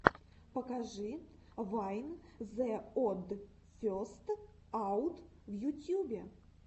покажи вайн зе од фестс аут в ютьюбе